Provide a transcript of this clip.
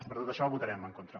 per tot això hi votarem en contra